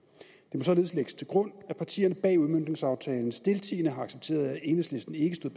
må således lægges til grund at partierne bag udmøntningsaftalen stiltiende har accepteret at enhedslisten ikke stod